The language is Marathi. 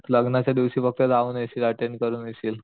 लग्नाच्या दिवशी फक्त जाऊन येशील अटेंड करून येशील